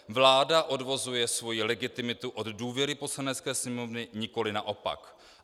Vláda odvozuje svoji legitimitu od důvěry Poslanecké sněmovny, nikoli naopak.